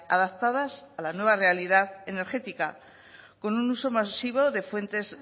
adaptadas a la nueva realidad energética con un uso masivo de fuentes